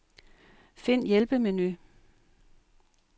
Find hjælpemenu.